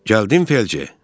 Gəldin, Felcer?